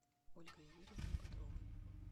ольгой юрьевной бодровой